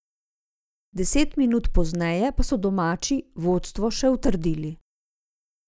Deset minut pozneje pa so domači vodstvo še utrdili.